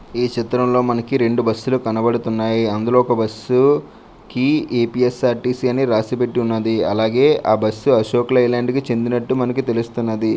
ఈ చిత్రంలో మనకి రెండు బస్ లు కనబడుతున్నాయి. అందులో ఒక బస్సు కి ఎ_పి_ఎస్_ఆర్_టి_సి అని రాసి పెట్టి ఉన్నది. అలాగే ఆ బస్ అశోక్ లే ల్యాండ్ కి చెందినట్టు మనకి తెలుస్తున్నది.